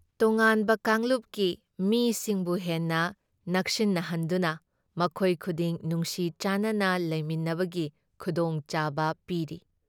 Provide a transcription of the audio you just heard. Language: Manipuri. ꯇꯣꯉꯥꯟꯕ ꯀꯥꯡꯂꯞꯀꯤ ꯃꯤꯁꯤꯡꯕꯨ ꯍꯦꯟꯅ ꯅꯛꯁꯤꯟꯅꯍꯟꯗꯨꯅ ꯃꯈꯣꯏ ꯈꯨꯗꯤꯡ ꯅꯨꯡꯁꯤ ꯆꯥꯟꯅꯅ ꯂꯩꯃꯤꯟꯅꯕꯒꯤ ꯈꯨꯗꯣꯡꯆꯥꯕ ꯄꯤꯔꯤ ꯫